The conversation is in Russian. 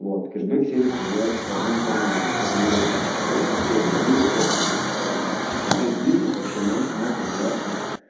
вот кэшбэк сервис развивается по двум форматом это либо по сетевой модели либо просто через интернет маркетинг ну то есть бизнес вообще может может развиваться